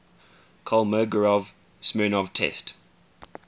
kolmogorov smirnov test